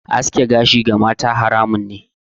Aske gashi ga mata haramun ne.